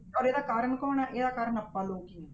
ਔਰ ਇਹਦਾ ਕਾਰਨ ਕੌਣ ਹੈ, ਇਹਦਾ ਕਾਰਨ ਆਪਾਂ ਲੋਕ ਹੀ ਹਾਂ।